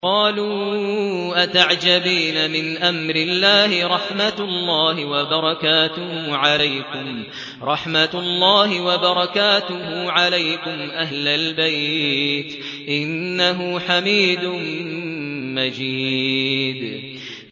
قَالُوا أَتَعْجَبِينَ مِنْ أَمْرِ اللَّهِ ۖ رَحْمَتُ اللَّهِ وَبَرَكَاتُهُ عَلَيْكُمْ أَهْلَ الْبَيْتِ ۚ إِنَّهُ حَمِيدٌ مَّجِيدٌ